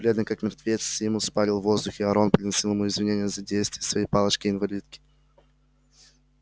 бледный как мертвец симус парил в воздухе а рон приносил ему извинения за действия своей палочки-инвалидки